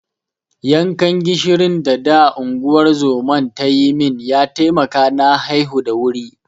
Yankan gishirin da da unguwar zoman ta yi min ya taimaka na haihu da wuri.